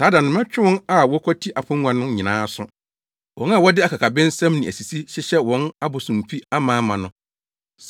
Saa da no mɛtwe wɔn a wɔkwati apongua no nyinaa aso. Wɔn a wɔde akakabensɛm ne asisi hyehyɛ wɔn abosomfi amaama no.